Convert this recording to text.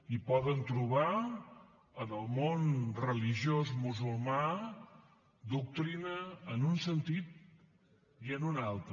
i poden trobar en el món religiós musulmà doctrina en un sentit i en un altre